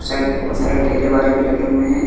Side बहोत सारे ठेले वाले भी लगे हुए हैं।